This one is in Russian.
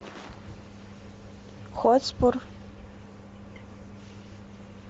хотспур